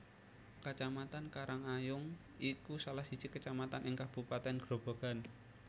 Kecamatan Karangayung iku salah siji kecamatan ing kabupaten Grobogan